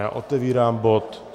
Já otevírám bod